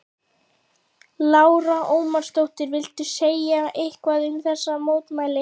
Lára Ómarsdóttir: Viltu segja eitthvað um þessi mótmæli?